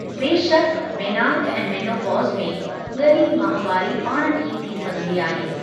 बेशक़, मेनार्क ऐं मोनोपॉज़ में ग॒री माहवारी पाण ठीकु थी संघदी आहे।